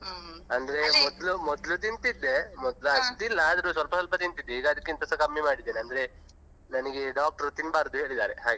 ಅಂದ್ರೆ ಮೊದ್ಲು ಮೊದ್ಲು ತಿಂತಿದ್ದೆ ಮೊದ್ಲು ಅಷ್ಟಿಲ್ಲ ಆದ್ರೂ ಸ್ವಲ್ಪ ಸ್ವಲ್ಪ ತಿಂತಿದ್ದೆ ಈಗ ಅದಕ್ಕಿಂತಸ ಕಮ್ಮಿ ಮಾಡಿದ್ದೆ ಅಂದ್ರೆ ನನ್ಗೆ doctor ತಿನ್ಬಾರ್ದು ಹೇಳಿದ್ದಾರೆ ಹಾಗೆ.